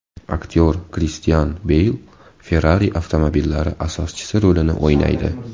Aktyor Kristian Beyl Ferrari avtomobillari asoschisi rolini o‘ynaydi.